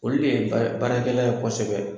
Olu de ye bara baarakɛla ye kosɛbɛ.